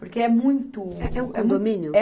Porque é muito... É um condomínio?